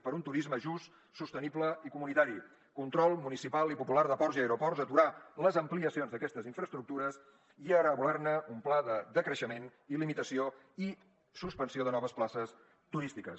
per un turisme just sostenible i comunitari control municipal de ports i aeroports aturar les ampliacions d’aquestes infraestructures i elaborar ne un pla de decreixement i limitació i suspensió de noves places turístiques